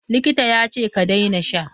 Likita yace ka daina sha!